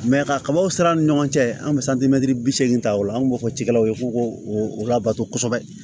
ka kabaw siran ni ɲɔgɔn cɛ an bɛ santimɛtiri bi seegin ta ola an b'o fɔ cikɛlaw ye k'o k'o o labato kosɛbɛ